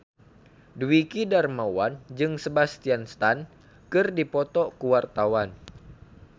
Dwiki Darmawan jeung Sebastian Stan keur dipoto ku wartawan